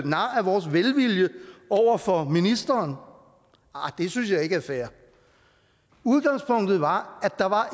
vores velvilje over for ministeren det synes jeg ikke er fair udgangspunktet var at der var